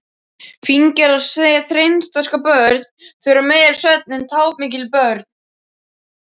Fíngerð og seinþroska börn þurfa meiri svefn en tápmikil börn.